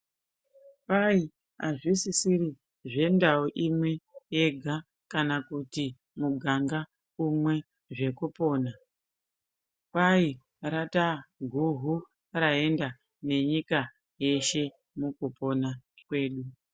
Kwai azvisisiri zvendau imwe yega kana kuti muganga umwe zvekupona kwai rataa guhu raenda nenyika yeshe mukupona kwedu.